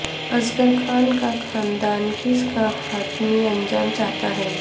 اصغر خان کا خاندان کیس کا حتمی انجام چاہتا ہے